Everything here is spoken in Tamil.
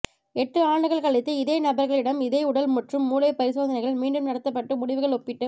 எட்டு ஆண்டுகள் கழித்து இதே நபர்களிடம் இதே உடல் மற்றும் மூளை பரிசோதனைகள் மீண்டும் நடத்தப்பட்டு முடிவுகள் ஒப்பிட்டுப்